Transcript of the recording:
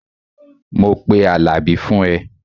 Mo máa pe Àlàbí fún ẹ